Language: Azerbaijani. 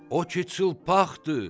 O ki çılpaqdır!